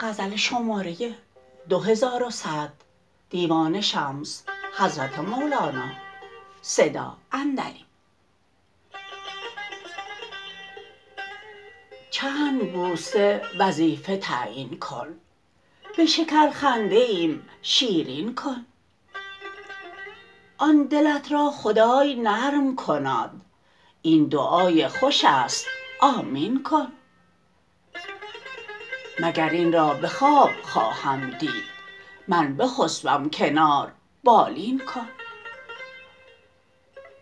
چند بوسه وظیفه تعیین کن به شکرخنده ایم شیرین کن آن دلت را خدای نرم کناد این دعای خوش است آمین کن مگر این را به خواب خواهم دید من بخسبم کنار بالین کن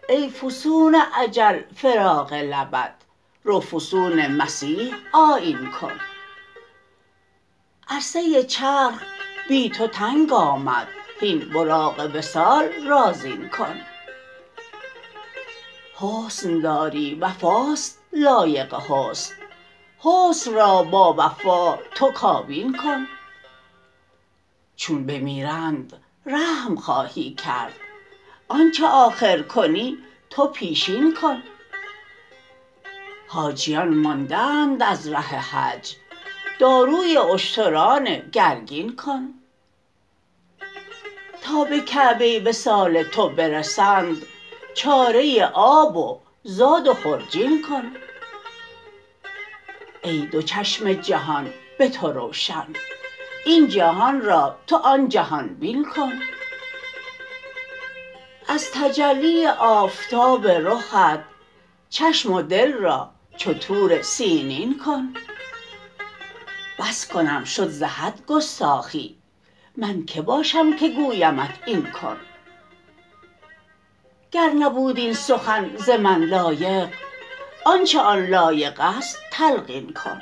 ای فسون اجل فراق لبت رو فسون مسیح آیین کن عرصه چرخ بی تو تنگ آمد هین براق وصال را زین کن حسن داری وفاست لایق حسن حسن را با وفا تو کابین کن چون بمیرند رحم خواهی کرد آنچ آخر کنی تو پیشین کن حاجیان مانده اند از ره حج داروی اشتران گرگین کن تا به کعبه وصال تو برسند چاره آب و زاد و خرجین کن ای دو چشم جهان به تو روشن این جهان را تو آن جهان بین کن از تجلی آفتاب رخت چشم و دل را چو طور سینین کن بس کنم شد ز حد گستاخی من کی باشم که گویمت این کن گر نبود این سخن ز من لایق آنچ آن لایق است تلقین کن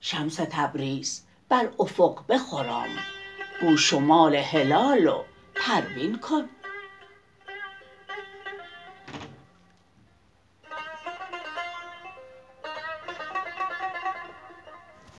شمس تبریز بر افق بخرام گو شمال هلال و پروین کن